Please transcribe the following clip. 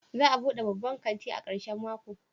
Za a bude babban kanti a karshen mako?